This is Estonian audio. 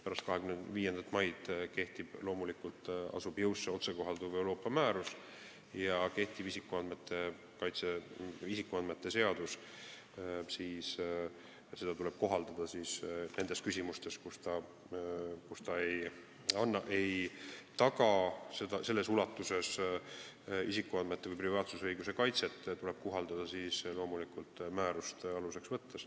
Pärast 25. maid astub jõusse otsekohalduv Euroopa määrus ja kehtivat isikuandmete kaitse seadust tuleb kohaldada nendes küsimustes, kus ta ei taga selles ulatuses isikuandmete või privaatsusõiguse kaitset, kohaldades teda loomulikult määrust aluseks võttes.